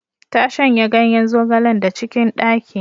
Ta shanya ganyen zogalen da cikin ɗaki.